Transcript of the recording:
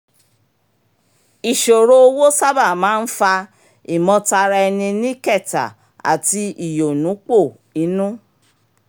ìṣòro owó sábà máa ń fa ìmọ̀tara-ẹni-ní-kẹ̀tà àti ìyọ̀núpò inú